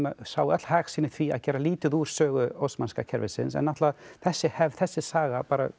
sáu öll hag sinn í því að gera lítið úr sögu Ósmanska kerfisins en náttúrulega þessi hefð þessi saga